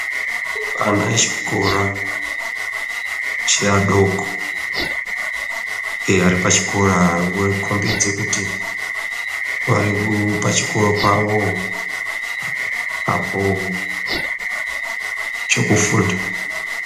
Ana echikora ,cheadoko, ere vari pachikora. Vokhombide kuti, vari kuu pachikora pawo, apoo chekufunda.